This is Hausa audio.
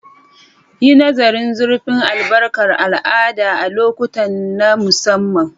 Yi nazarin zurfin albarkar al'ada a lokuta na musamman.